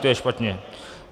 To je špatně.